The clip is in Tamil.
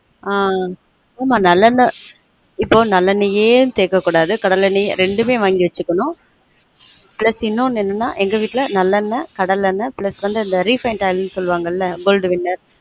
ஆன் ஆமா நல்லெண்ண இப்பொ நல்லெண்ணேயே சேர்க்க கூடாது கடலணேயே ரெண்டுமே வாங்கி வச்சுக்கனும் pus இன்னொன்னு என்னனென்னா எங்க வீட்டுல நல்லெண்ண கடலெண்ண plus வந்து refined oil நு சொல்லுவாங்க goldwainner ஆஹ்